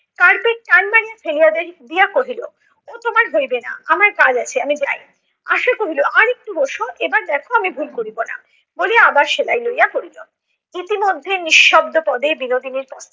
ফেলিয়া দিয়া কহিল ও তোমার হইবে না, আমার কাজ আছে আমি যাই। আশা কহিল আর একটু বস, এবার দেখ আমি ভুল করিব না বলিয়া আবার সেলাই লইয়া পড়িল। ইতিমধ্যে নিঃশব্দ পদে বিনোদিনীর